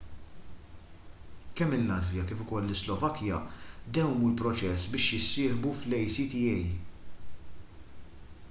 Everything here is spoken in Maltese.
kemm il-latvja kif ukoll is-slovakkja dewwmu l-proċess biex jissieħbu fl-acta